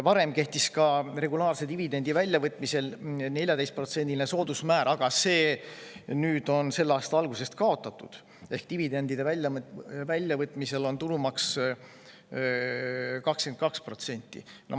Varem kehtis regulaarse dividendi väljavõtmisel 14%‑line soodusmäär, aga see on selle aasta algusest kaotatud ja dividendide väljavõtmisel on tulumaks 22%.